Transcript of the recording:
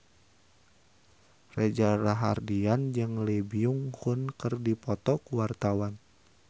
Reza Rahardian jeung Lee Byung Hun keur dipoto ku wartawan